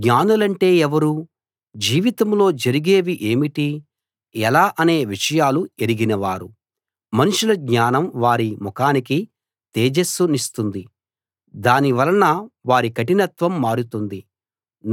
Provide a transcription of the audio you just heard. జ్ఞానులంటే ఎవరు జీవితంలో జరిగేవి ఏమిటి ఎలా అనే విషయాలు ఎరిగినవారు మనుషుల జ్ఞానం వారి ముఖానికి తేజస్సు నిస్తుంది దాని వలన వారి కఠినత్వం మారుతుంది